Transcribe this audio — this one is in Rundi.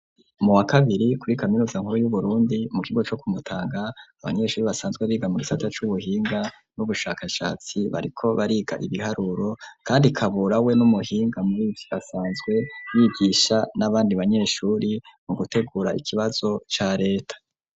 Mu wa kabiri kuri kaminuza nkuru y'uburundi, mu kigo co kumutanga, abanyeshuri basanzwe biga mu gisata c'ubuhinga n'ubushakashatsi ,bariko bariga ibiharuro kandi kabura we ,n'umuhinga muribi basanzwe bigisha n'abandi banyeshuri mu gutegura ikibazo ca leta.